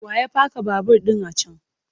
Wa ya paka babur ɗin a can?